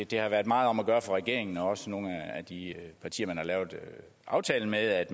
det har været meget om at gøre for regeringen og også nogle af de partier man har lavet aftalen med at